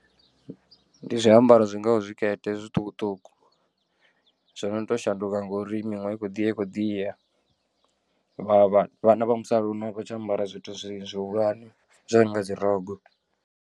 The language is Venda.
Ndi zwiambaro zwingaho zwikete zwiṱukuṱuku zwo no tou shanduka ngori miṅwaha i khou ḓi ya i khou ḓi ya vha vhana vha musalauno a vha tsha ambara zwithu zwihulwane zwo no nga dzi rogo.